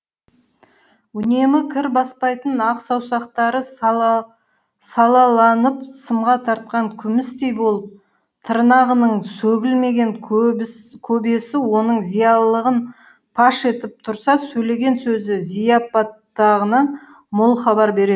үнемі кір баспайтын ақ саусақтары салаланып сымға тартқан күмістей болып тырнағының сөгілмеген көбесі оның зиялылығын паш етіп тұрса сөйлеген сөзі зияпаттығынан мол хабар беретін